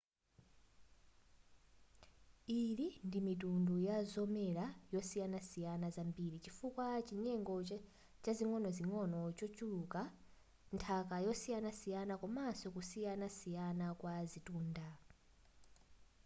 ili ndi mitundu yazomera zosiyanasiyana zambiri chifukwa chanyengo zing'onozing'ono zochuluka nthaka yosiyanasiyana komaso kusiyanasiyana kwa zitunda